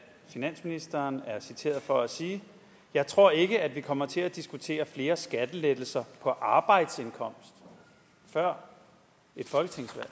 finansministeren er citeret for at sige jeg tror ikke at vi kommer til at diskutere flere skattelettelser på arbejdsindkomst før et folketingsvalg